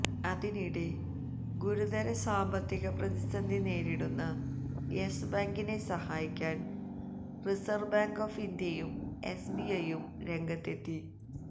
അതിനിടെ ഗുരുതര സാമ്പത്തിക പ്രതിസന്ധി നേരിടുന്ന യെസ് ബാങ്കിനെ സഹായിക്കാന് റിസര്വ് ബാങ്ക് ഓഫ് ഇന്ത്യയും എസ്ബിഐയും രംഗത്ത് എത്തി